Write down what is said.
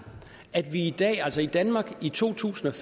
at vi i dag altså i danmark i to tusind og